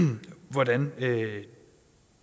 hvordan